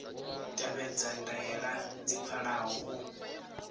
tevhedza ndaela dzi pfalaho u